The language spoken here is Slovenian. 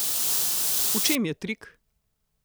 V čem je trik?